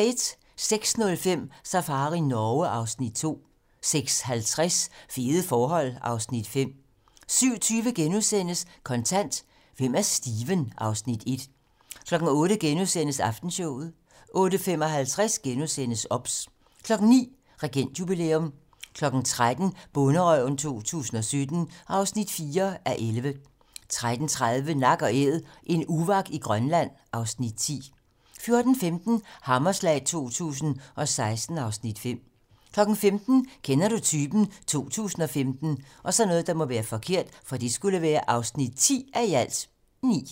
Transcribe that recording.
06:05: Safari Norge (Afs. 2) 06:50: Fede forhold (Afs. 5) 07:20: Kontant: Hvem er Steven? (Afs. 1)* 08:00: Aftenshowet * 08:55: OBS * 09:00: Regentjubilæum 13:00: Bonderøven 2017 (4:11) 13:30: Nak & Æd - en uvak i Grønland (Afs. 10) 14:15: Hammerslag 2016 (Afs. 5) 15:00: Kender du typen? 2015 (10:9)